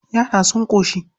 Yara sun ƙoshi.